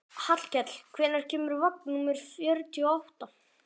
Hallkell, hvenær kemur vagn númer fjörutíu og átta?